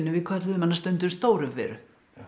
kölluðum hana stundum stóru Veru